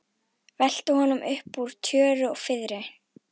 Velta honum upp úr tjöru og fiðri!